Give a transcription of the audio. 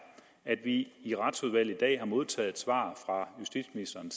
at vi i retsudvalget i dag har modtaget et svar fra justitsministeren